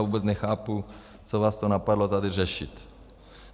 A vůbec nechápu, co vás to napadlo tady řešit.